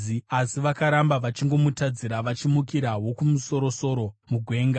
Asi vakaramba vachingomutadzira, vachimukira Wokumusoro-soro mugwenga.